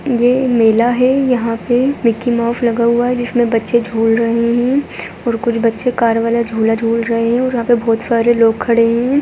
ये एक मेला है यहाँ पे मिकी माउस लगा हुआ है जिसमें बच्चे झूल रहे हैं और कुछ बच्चे कार वाला झूला झूल रहे है यहाँ पर बहुत सारे लोग खड़े हैं।